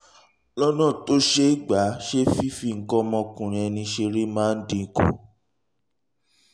lọ́nà tó ṣe é gbà ṣe fífi nǹkan ọmọkùnrin ẹni ṣeré máa ń dín kù